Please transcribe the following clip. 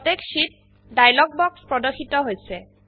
protect sheet dialog বাক্স প্ৰদৰ্শিত হৈছে